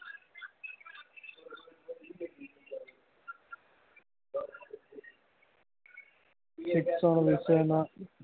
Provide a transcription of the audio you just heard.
શિક્ષણ વિશે નાં